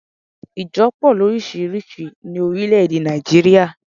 Ìjo po lórísírìsí ní orílé èdè Nàìjíríà